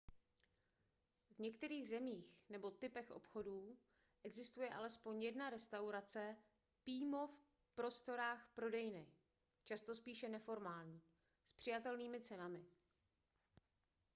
v některých zemích nebo typech obchodů existuje alespoň jedna restaurace pímo v prostorách prodejny často spíše neformální s přijatelnými cenami